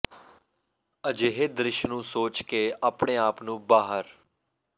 ਅਜਿਹੇ ਦ੍ਰਿਸ਼ ਨੂੰ ਸੋਚ ਕੇ ਆਪਣੇ ਆਪ ਨੂੰ ਬਾਹਰ